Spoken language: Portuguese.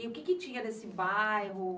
E o que tinha nesse bairro?